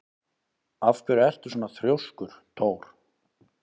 Af hverju ertu svona þrjóskur, Thór?